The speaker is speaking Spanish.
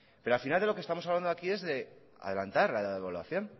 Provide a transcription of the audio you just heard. pero al final de lo que estamos hablando aquí es de adelantar la evaluación